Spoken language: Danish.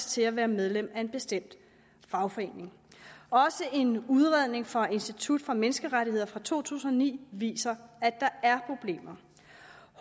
til at være medlem af en bestemt fagforening også en udredning fra institut for menneskerettigheder fra to tusind og ni viser at der er problemer